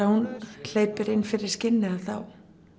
hún hleypir inn fyrir skinnið þá